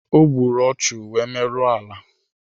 Ogburu ọchu wee merụọ ala